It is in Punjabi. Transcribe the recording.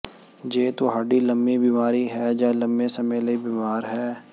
ਜੇ ਤੁਹਾਡੀ ਲੰਮੀ ਬਿਮਾਰੀ ਹੈ ਜਾਂ ਲੰਮੇ ਸਮੇਂ ਲਈ ਬੀਮਾਰ ਹੈ